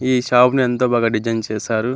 ఈ షాప్ ని ఎంతో బాగా డిజైన్ చేసారు.